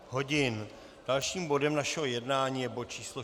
Dalším bodem našeho jednání je bod číslo